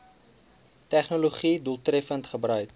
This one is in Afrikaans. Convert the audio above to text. tegnologië doeltreffend gebruik